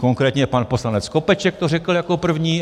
Konkrétně pan poslanec Skopeček to řekl jako první.